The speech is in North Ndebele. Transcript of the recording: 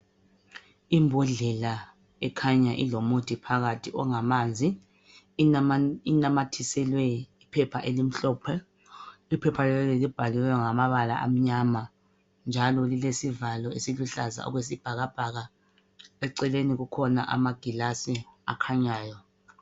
Imbodlela ekhanya ilomuthi phakathi ongamanzi inamathiselwe iphepha elimhlophe, iphepha leli libhaliwengamabala amanyama njalo lilesivalo esiluhlaza okwesibhakabhaka. Eceleni kukhona amagilasi akhanyayo.